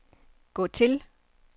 gå til